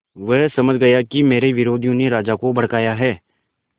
वह समझ गया कि मेरे विरोधियों ने राजा को भड़काया है